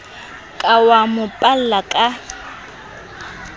ka wa mo palla ka